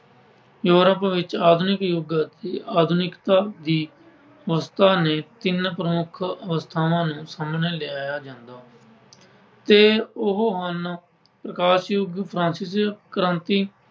Europe ਵਿੱਚ ਆਧੁਨਿਕ ਯੁੱਗ ਅਤੇ ਆਧੁਨਿਕਤਾ ਦੀ ਅਵਸਥਾ ਨੇ ਤਿੰਨ ਪ੍ਰਮੁੱਖ ਅਵਸਥਾਵਾਂ ਨੂੰ ਸਾਹਮਣੇ ਲਿਆਇਆ ਜਾਂਦਾ ਹੈ ਤੇ ਉਹ ਹਨ ਪ੍ਰਕਾਸ਼ ਯੁੱਗ Francis ਕ੍ਰਾਂਤੀ